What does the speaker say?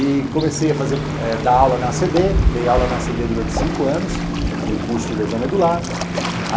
E comecei fazer eh a dar aula na a ce dê, dei aula na a ce dê durante cinco anos, no curso de lesão medular.